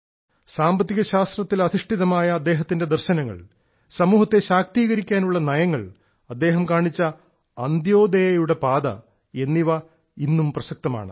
സാമ്പത്തിക ശാസ്ത്രത്തിൽ അധിഷ്ഠിതമായ അദ്ദേഹത്തിന്റെ ദർശനം സമൂഹത്തെ ശാക്തീകരിക്കാനുള്ള നയങ്ങൾ അദ്ദേഹം കാണിച്ച അന്ത്യോദയയുടെ പാത എന്നിവ ഇന്നും പ്രസക്തമാണ്